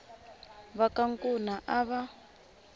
va ka nkuna a va